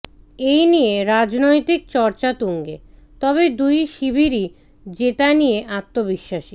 এই নিয়ে রাজনৈতিক চর্চা তুঙ্গে তবে দুই শিবিরই জেতা নিয়ে আত্মবিশ্বাসী